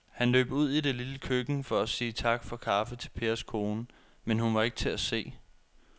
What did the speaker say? Han løb ud i det lille køkken for at sige tak for kaffe til Pers kone, men hun var ikke til at se.